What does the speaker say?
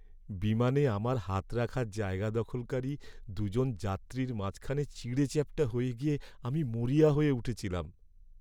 বিমানে আমার হাত রাখার জায়গা দখলকারী দু'জন যাত্রীর মাঝখানে চিঁড়েচ্যাপ্টা হয়ে গিয়ে আমি মরিয়া হয়ে উঠেছিলাম।